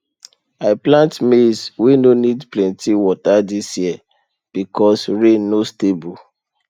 i plant maize wey no need plenty water this year because rain no stable